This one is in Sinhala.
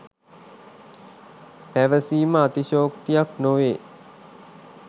පැවසීම අතිශෝක්තියක් නොවේ